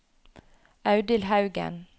Audhild Haugen